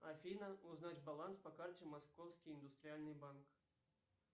афина узнать баланс по карте московский индустриальный банк